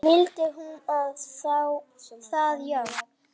Vildi hún það já?